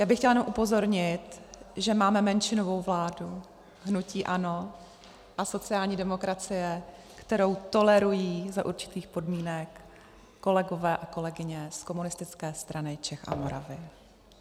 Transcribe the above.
Já bych chtěla jenom upozornit, že máme menšinovou vládu - hnutí ANO a sociální demokracie, kterou tolerují za určitých podmínek kolegové a kolegyně z Komunistické strany Čech a Moravy.